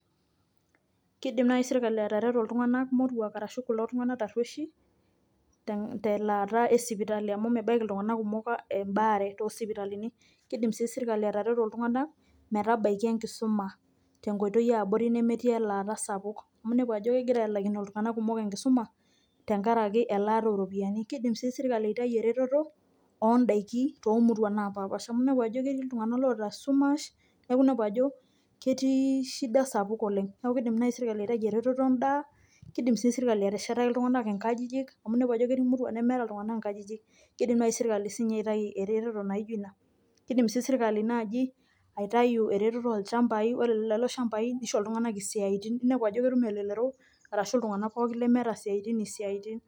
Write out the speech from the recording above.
Keidim naaji serkali atareto kulo tunganak tarueishi telaata e sipitali amu mebaiki iltungana kumok embaare too sipitalini, keidim sii serkali atareto iltungana metabaiki enkisuma tenkoitoi yaabori nemetiii elaata sapuk amuu inepu ajo ketii iltungana oinguaa enkisuma tenkaraki elaata oo ropiyiani ,keidim sii srkali aitayu eretoto oo ndaiki too muruan naapasha amu inepu ajo ketii iltungana oota esumash neeku inepu ajo ketii shida sapuk oleng neeku keidim naaji serkali aitayu eretoto endaa ,keidim sii serkali ateshetaki iltunganak inkajijik amu inepu ajo ketii muruan nemeeta iltungana inkajijik neidim sii ninye serkali aitayu eretoto sii ninye naijo ina ,keidim sii serkali naaji aitayu eretoto oo ilchamabi ore lelo shambai neisho iltunganaka isiatin inep ajo neidim elelero arashu iltungana pookin lemeeta isiatin esia.